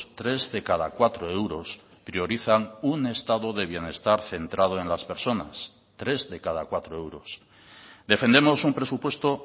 tres de cada cuatro euros priorizan un estado de bienestar centrado en las personas tres de cada cuatro euros defendemos un presupuesto